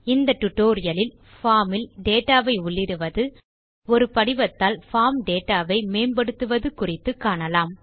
இந்த டியூட்டோரியல் லில் பார்ம் இல் டேட்டா வை உள்ளிடுவது ஒரு படிவத்தால் பார்ம் டேட்டா வை மேம்படுத்துவது குறித்து காணலாம்